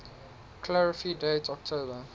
clarify date october